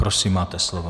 Prosím, máte slovo.